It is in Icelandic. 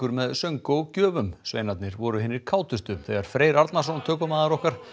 með söng og gjöfum sveinarnir voru hinir þegar Freyr Arnarson tökumaður okkar